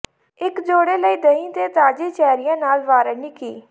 ਇੱਕ ਜੋੜਾ ਲਈ ਦਹੀਂ ਤੇ ਤਾਜ਼ੀ ਚੈਰੀਆਂ ਨਾਲ ਵਾਰੇਨੀਕੀ